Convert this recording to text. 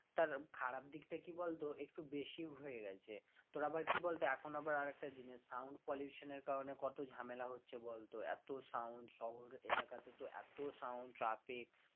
তার খারাপ দিকটা কি বলতো একটু বেশি হয়ে গেছে তোর আবার কি বলতো এখন আবার আরেকটা জিনিস sound pollution এর কারণে কত ঝামেলা হচ্ছে বলতো এত sound শহর এলাকাতে তো এত sound traffic